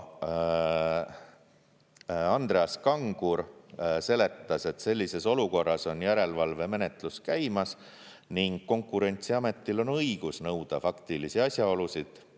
Andreas Kangur seletas, et selles olukorras on järelevalvemenetlus käimas ning Konkurentsiametil on õigus nõuda faktilisi asjaolusid.